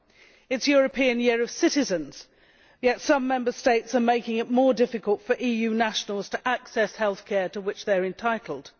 It is the European Year of Citizens, yet some Member States are making it more difficult for EU nationals to access healthcare to which they are entitled.